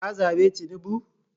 ka zabe tinubu?